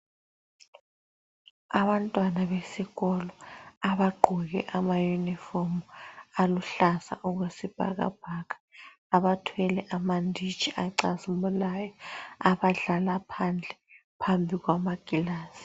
Abantwana besikolo abagqoke amayunifomu aluhlaza okwesibhakabhaka abathwele amanditshi acazimulayo abadlala phandle, phambi kwamakilasi.